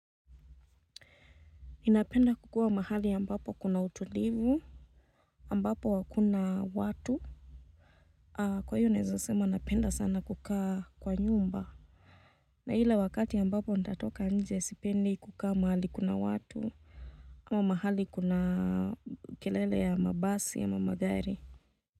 Ninapenda kukua mahali ambapo kuna utulivu, ambapo hakuna watu, kwa hiyo naezasema napenda sana kukaa kwa nyumba, na hile wakati ambapo natatoka nje sipendi kukaa mahali kuna watu, ama mahali kuna kelele ya mabasi ya magari.